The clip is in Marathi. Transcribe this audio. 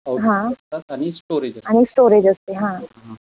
हां आणि स्टोरेज असते हां.